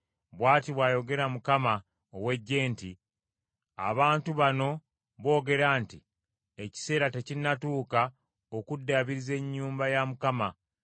Bw’ati bw’ayogera Mukama ow’eggye nti, “Abantu bano boogera nti, ‘Ekiseera tekinnatuuka okuddaabiriza ennyumba ya Mukama .’”